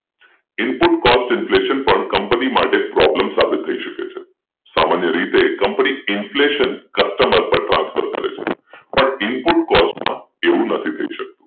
Input cost inflation પણ કંપની માટે પ્રોબ્લેમ સાબિત થઈ શકે સામાન્ય રીતે કંપની inflation કસ્ટમર ટ્રાન્સફર કરે છે પણ ઇનપુટ કોસ્ટ માં એવું થઇ નથી શકતું